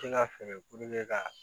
ka fɛɛrɛ ka